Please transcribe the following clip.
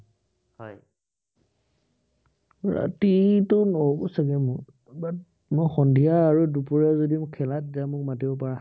ৰাতিটো নহব চাগে মোৰ ইমান। মই সন্ধিয়া আৰু দুপৰীয়া যদি উম খেলা তেতিয়া হলে মোক মাতিব পাৰা।